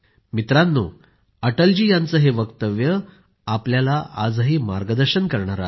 मित्रांनो अटल जी यांचे हे वक्तव्य आपल्याला आजही मार्गदर्शन करणारे आहे